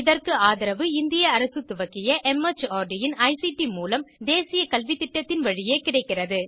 இதற்கு ஆதரவு இந்திய அரசு துவக்கிய மார்ட் இன் ஐசிடி மூலம் தேசிய கல்வித்திட்டத்தின் வழியே கிடைக்கிறது